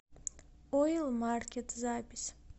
ойл маркет запись